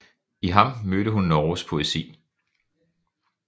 I ham mødte hun Norges poesi